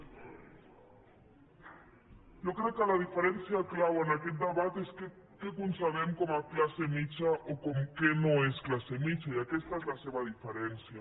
jo crec que la diferència clau en aquest debat és què concebem com a classe mitjana o què no és classe mitjana i aquesta és la seva diferència